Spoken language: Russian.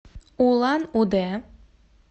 улан удэ